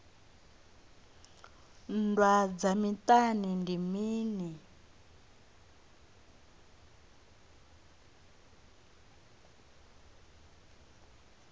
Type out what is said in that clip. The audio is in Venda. nndwa dza miṱani ndi mini